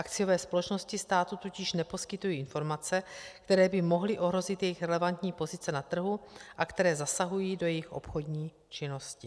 Akciové společnosti státu totiž neposkytují informace, které by mohly ohrozit jejich relevantní pozice na trhu a které zasahují do jejich obchodní činnosti.